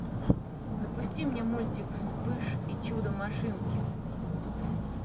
запусти мне мультик вспыш и чудо машинки